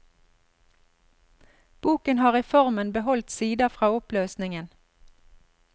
Boken har i formen beholdt sider fra oppløsningen.